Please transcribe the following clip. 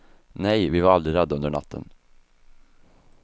Nej, vi var aldrig rädda under natten.